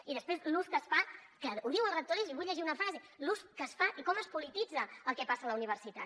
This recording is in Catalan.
i després l’ús que es fa que ho diu el rector i vull llegir una frase l’ús que es fa i com es polititza el que passa a la universitat